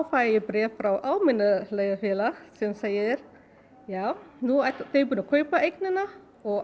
fæ ég bréf frá Almenna leigufélag sem segir já nú eru þau búin að kaupa eignina og